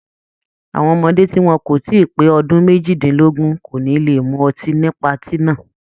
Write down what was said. Àwọn ọmọdé tí wọn kò tí pé ọdún méjìdínlógún kò ní le mú ọtí ní patí náà.